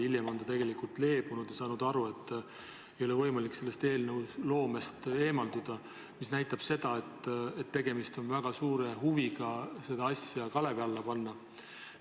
Hiljem on ta leebunud ja saanud aru, et ei ole võimalik sellest eelnõuloomest eemalduda, mis näitab seda, et tegemist on väga suure huviga see asi kalevi alla panna.